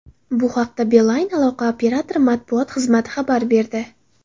Bu haqda Beeline aloqa operatori matbuot xizmati xabar berdi.